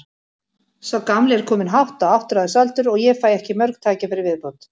Sá gamli er kominn hátt á áttræðisaldur og ég fæ ekki mörg tækifæri í viðbót.